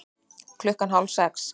Klukkan hálf sex